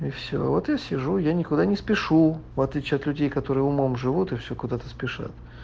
и все вот я сижу я никуда не спешу в отличие от людей которые умом живут и все куда-то спешат